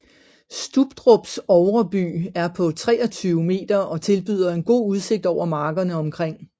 Stubdrups ovre by er på 23 m og tilbyder en god udsigt over markerne omkring